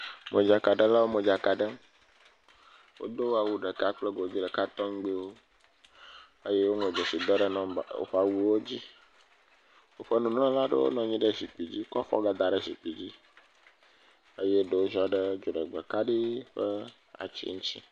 Modzakaɖewo modzaka ɖem wodo awu ɖeka kple godi ɖeka tɔgbi wo eye wo ŋlɔ dzeside ɖe woƒe awuawo dzi woƒe nunɔlawo nɔ anyi ɖe zikpui kɔ afɔ gadaɖe zikpui eye ɖewo ziɔɖe dziɖegbe kaɖi ƒe ati ŋti